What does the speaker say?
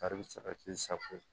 Kari bɛ sara k'i sago ye